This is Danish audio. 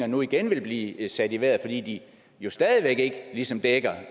nu igen vil blive sat i vejret fordi de jo stadig væk ikke ligesom dækker